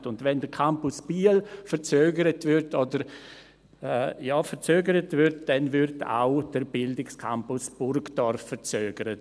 Und wenn der Campus Biel verzögert wird, dann wird auch der Campus Burgdorf verzögert.